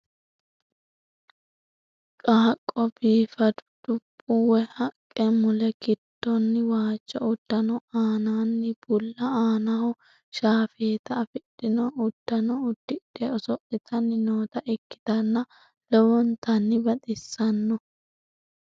Qaaqqo biifadu dubbi woy haqqe mule giddoonni waajo uddano aananni bulla aanaho shaafeeta afidhino udfano uddidhe oso'litanni noota ikkitanna lowontanni baxissanno.